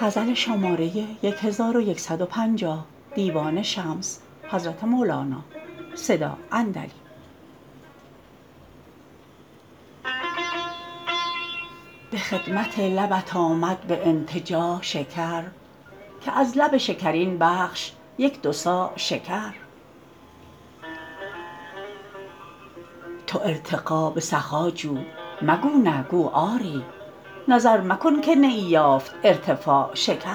به خدمت لبت آمد به انتجاع شکر که از لب شکرین بخش یک دو صاع شکر تو ارتقا به سخا جو مگو نه گو آری نظر مکن که نیی یافت ارتفاع شکر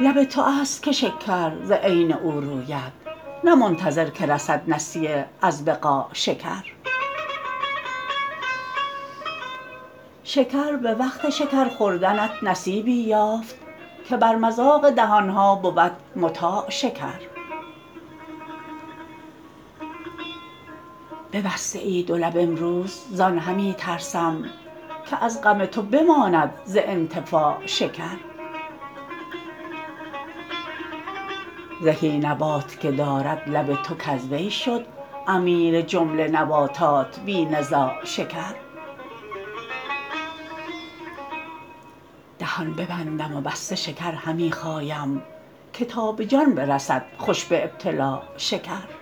لب تو است که شکر ز عین او روید نه منتظر که رسید نسیه از بقاع شکر شکر به وقت شکر خوردنت نصیبی یافت که بر مذاق دهان ها بود مطاع شکر ببسته ای دو لب امروز زان همی ترسم که از غم تو بماند ز انتفاع شکر زهی نبات که دارد لب تو کز وی شد امیر جمله نباتات بی نزاع شکر دهان ببندم و بسته شکر همی خایم که تا به جان برسد خوش به ابتلاع شکر